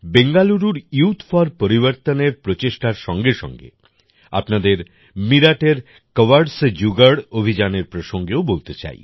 বেঙ্গালুরুর youth for পরিবর্তনের প্রচেষ্টার সঙ্গে সঙ্গে আপনাদের মিরাটের কওয়াড় সে জুগাড় অভিযানের প্রসঙ্গেও বলতে চাই